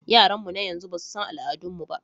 Yaranmu na yanzu ba su san al'adun mu ba.